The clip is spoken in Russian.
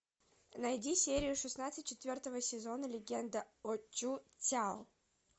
найди серию шестнадцать четвертого сезона легенда о чу цяо